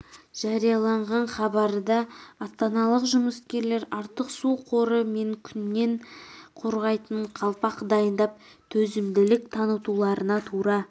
жарияланған хабарда астаналық жұмыскерлер артық су қоры мен күннен қорғайтын қалпақ дайындап төзімділік танытуларына тура